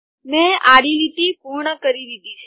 મેં આડી લીટી પૂર્ણ કરી દીધી છે